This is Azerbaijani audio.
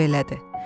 əlavə elədi.